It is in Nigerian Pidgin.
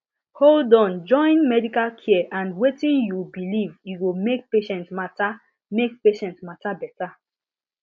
hold on join medical care and wetin you believe e go make patient matter make patient matter beta